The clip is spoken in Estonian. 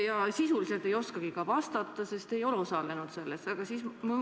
Ja sisuliselt te ei oskagi vastata, sest ei ole osalenud selles töös.